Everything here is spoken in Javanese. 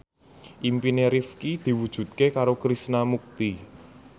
impine Rifqi diwujudke karo Krishna Mukti